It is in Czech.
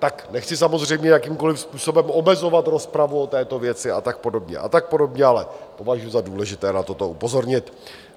Tak nechci samozřejmě jakýmkoliv způsobem omezovat rozpravu o této věci a tak podobně a tak podobně, ale považuji za důležité na toto upozornit.